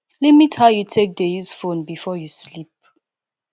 limit how you take dey use phone before you sleep